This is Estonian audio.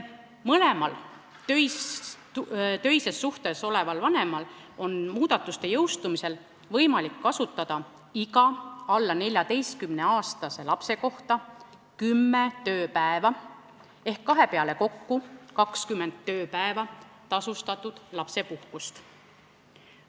Mõlemal töises suhtes oleval vanemal on muudatuste jõustumisel võimalik kasutada iga alla 14-aastase lapse kohta kümme tööpäeva tasustatud lapsepuhkust.